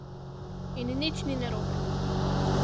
In nič ni narobe.